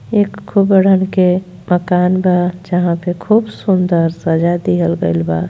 एक खूबड़न के मकान बा जहां पे खूब सुन्दर सजा दिहल गइल बा।